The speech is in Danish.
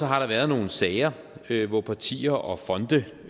har der været nogle sager hvor partier og fonde